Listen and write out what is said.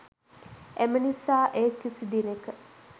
එම නිසා එය කිසි දිනක